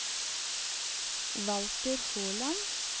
Walter Håland